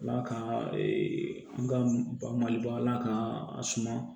Ala ka an ka bali ba ala k'an suma